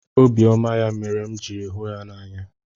Obiọma ya mere m jiri hụ ya n'anya.